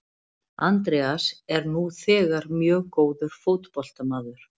Andreas er nú þegar mjög góður fótboltamaður.